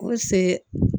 Ko se